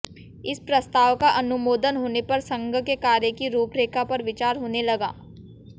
इस प्रस्ताव का अनुमोदन होने पर संघ के कार्य की रूपरेखा पर विचार होने लगा